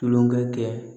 Tulonkɛ kɛ